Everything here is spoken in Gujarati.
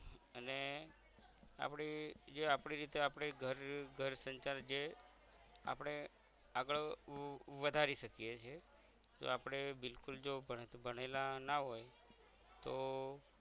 અને આપડી જે આપડી રીતે આપણે ઘર ઘર સંસાર જે આપણે આગળ વધારી શકીએ છીયે તો આપણે બિલકુલ જો ભણેલા ના હોય તો